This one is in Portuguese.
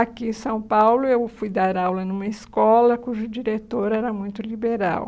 Aqui em São Paulo, eu fui dar aula numa escola cujo diretor era muito liberal.